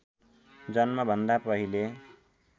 जन्मभन्दा पहिले